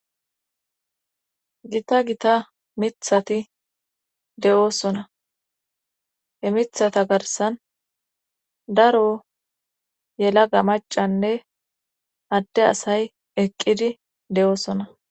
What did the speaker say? gita gita mithati de7oosona he mithata garsan daro yela ga macanne adde asay eqqidi de7oosona